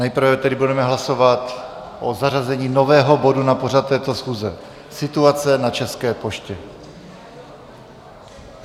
Nejprve tedy budeme hlasovat o zařazení nového bodu na pořad této schůze, situace na České poště.